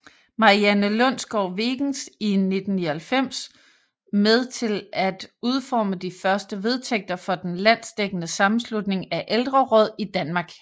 Marianne Lundsgaard Wegens i 1999 med til at udforme de første vedtægter for den landsdækkende Sammenslutning af Ældreråd i Danmark